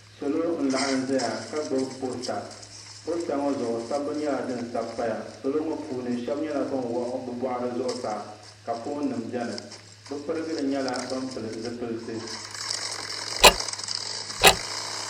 salo n laɣam ʒɛya ka gbubi poosta poosta ŋɔ zuɣu sabbu nyɛla din sabi paya salo ŋɔ puuni shab nyɛla bin wuɣi bi boɣari zuɣusaa ka foon nim biɛni bi pirigili nyɛla bin pili zipiliti